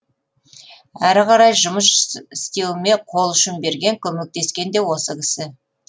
әрі қарай жұмыс істеуіме қол ұшын берген көмектескен де осы кісі